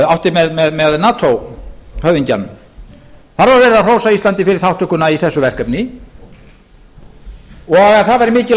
átti með nato höfðingjanum þar var verið að hrósa íslandi fyrir þátttökuna í þessu verkefni og að það væri mikilvægt